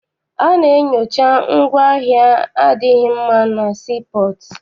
A na-enyocha ngwaahịa adịghị mma na sii pọọtụ.